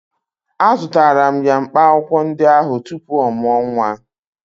Azụtara m ya mkpaakwụkwọ ndị ahụ tupu ọ mụọ nwa